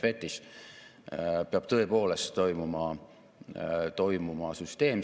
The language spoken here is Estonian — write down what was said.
Eelmisel aastal otsustasime ühendada kaks peamist ettevõtlust toetavat organisatsiooni, EAS-i ja KredExi.